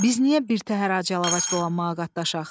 Biz niyə birtəhər ac-yalavac dolanmağa qatlaşaq?